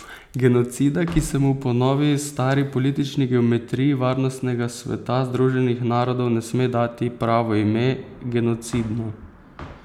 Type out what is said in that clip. Genocida, ki se mu po novi stari politični geometriji Varnostnega sveta Združenih narodov ne sme dati pravo ime, genocidno.